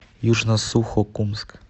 южно сухокумск